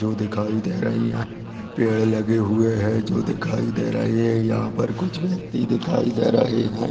जो दिखाई दे रही है पेड़ लगे हुए है जो दिखाई दे रही है यह पर कुछ व्यक्ति दिखाई दे रहे है।